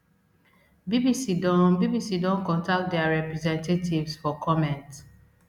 bbc don bbc don contact dia representatives for comment